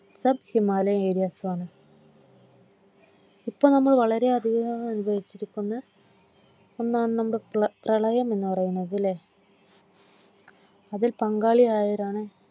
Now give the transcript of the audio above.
South Himalayan ഏരിയാസുമാണ്. ഇപ്പോൾ നമ്മൾ വളരെയധികം അനുഭവിച്ചിരിക്കുന്ന ഒന്നാണ് നമ്മുടെ പ്രളയം എന്നു പറയുന്നത്ലെ അതിൽ പങ്കാളിയായവരാണ്